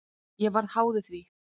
Ég varð háður því.